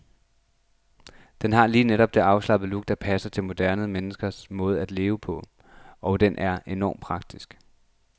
Den har lige netop det afslappede look, der passer til moderne menneskers måde at leve på, og den er enormt praktisk.